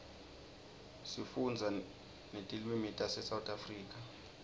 sifunda netilwimitase south africa